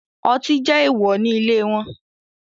Ọti jẹ eewọ ni ile wọn